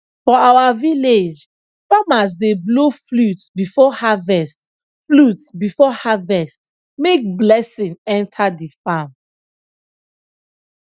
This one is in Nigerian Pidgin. for our village farmers dey blow flute before harvest flute before harvest make blessing enter the farm